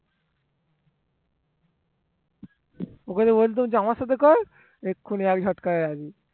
ওকে যদি বলতাম আমার সাথে কর ও এক ঝটকায় রাজি